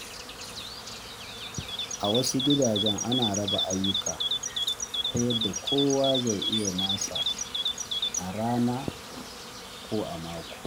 A wasu gidaje, ana raba ayyuka ta yadda kowa zai yi nasa a rana ko a mako.